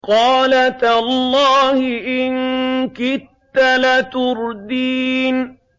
قَالَ تَاللَّهِ إِن كِدتَّ لَتُرْدِينِ